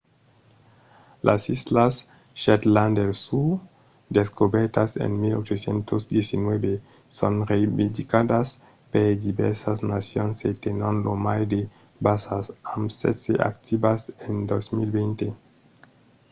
las islas shetland del sud descobèrtas en 1819 son reivindicadas per divèrsas nacions e tenon lo mai de basas amb setze activas en 2020